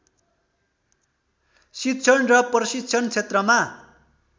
शिक्षण र प्रशिक्षण क्षेत्रमा